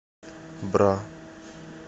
бра